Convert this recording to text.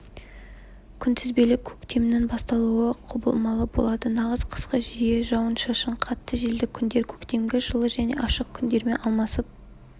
күнтізбелік көктемнің басталуы құбылмалы болады нағыз қысқы жиі жауын-шашынды қатты желді күндер көктемгі жылы және ашық күндермен алмасып